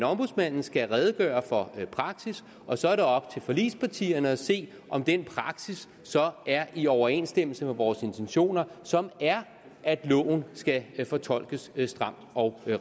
ombudsmanden skal redegøre for praksis og så er det op til forligspartierne at se om den praksis så er i overensstemmelse med vores intentioner som er at loven skal fortolkes stramt og